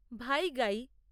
ভাইগাই